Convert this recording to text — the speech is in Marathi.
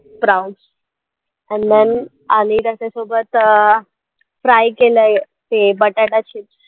Sproutes and then आणि आणि त्याच्यासोबत अं fry केलयं ते बटाटा chips